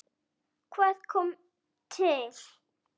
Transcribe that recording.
Hvað kom til?